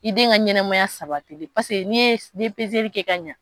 I den ka ɲɛnɛmaya sabatili paseke ni ye ni ye kɛ ka ɲɛ.